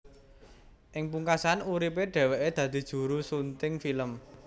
Ing pungkasan uripe dheweke dadi juru sunting film